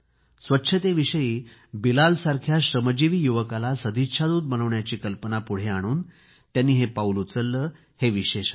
स्वच्छतेविषयी बिलालसारख्यास श्रमजीवी युवकाला सदिच्छा दूत बनवण्याची कल्पना पुढे आणून त्यांनी हे पाऊल उचलले हे विशेष आहे